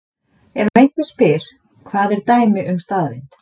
Ef einhver spyr: Hvað er dæmi um staðreynd?